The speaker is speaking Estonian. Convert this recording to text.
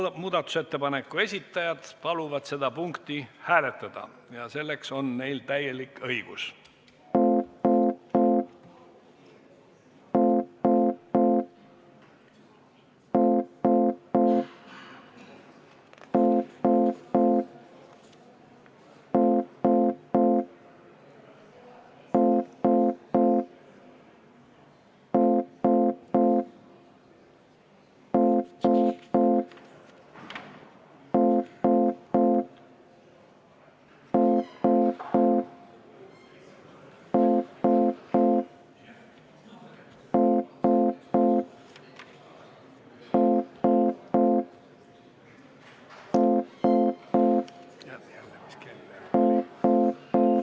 Nii, muudatusettepaneku esitajad paluvad seda punkti hääletada ja neil on selleks täielik õigus.